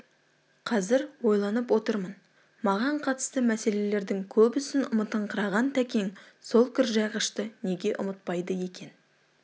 қазір ойланып отырмын маған қатысты мәселелердің көбісін ұмытыңқыраған тәкең сол кіржайғышты неге ұмытпайды екен